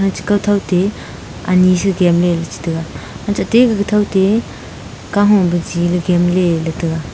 chi kaw thow te ani si gemley chi taiga ate te gaga thow ke kaho biji le gemley la chi taiga.